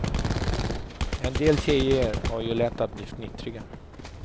En del tjejer har ju lätt att bli fnittriga.